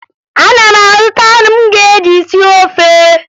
Ana m azụta anụ m ga-eji sie ofe